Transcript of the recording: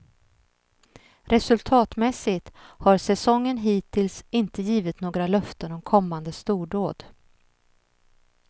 Resultatmässigt har säsongen hittills inte givit några löften om kommande stordåd.